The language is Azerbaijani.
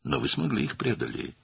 Amma siz onları dəf edə bildiniz.